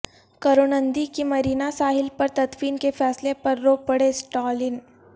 کروناندھی کی مرینا ساحل پر تدفین کے فیصلہ پر رو پڑے اسٹالن